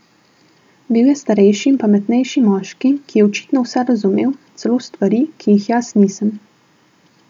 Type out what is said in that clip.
Bil je starejši in pametnejši moški, ki je očitno vse razumel, celo stvari, ki jih jaz nisem.